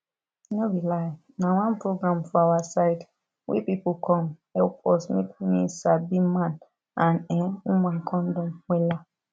no be lie na one program for awa side wey pipu come help us make me sabi man and[um]woman condom wella